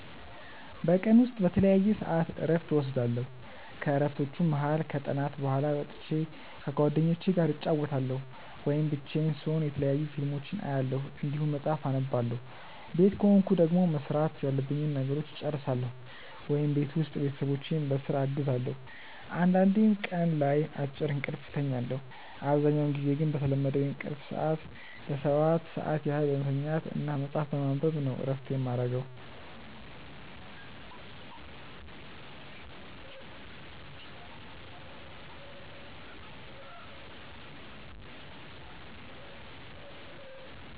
በቀን ውስጥ በተለያየ ሰዐት እረፍት እወስዳለሁ። ከእረፍቶቹም መሀል ከጥናት በኋላ ወጥቼ ከጓደኞቹ ጋር እጫወታለሁ ወይም ብቻዬን ስሆን የተለያዩ ፊልሞችን አያለሁ እንዲሁም መጽሐፍ አነባለሁ ቤት ከሆንኩ ደግሞ መስራት ያሉብኝን ነገሮች እጨርሳለሁ ወይም ቤት ውስጥ ቤተሰቦቼን በስራ አግዛለሁ አንዳንዴም ቀን ላይ አጭር እንቅልፍ እተኛለሁ። አብዛኛውን ጊዜ ግን በተለመደው የእንቅልፍ ሰዐት ለ7 ሰዓት ያህል በመተኛት እና መጽሀፍ በማንበብ ነው እረፍት የማረገው።